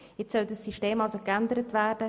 Jetzt soll dieses System geändert werden.